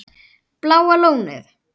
Bláa Lónið